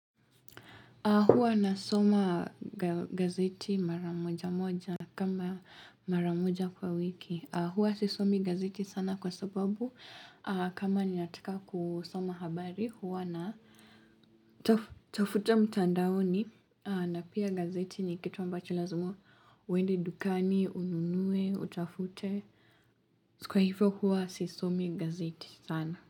Hua nasoma gazeti mara moja moja kama mara moja kwa wiki. Huwa sisomi gazeti sana kwa sababu kama ninataka kusoma habari. Huwa na tafuta mtandaoni na pia gazeti ni kitu ambacho lazima uende dukani, ununue, utafute. Kwa hivyo huwa sisomi gazeti sana.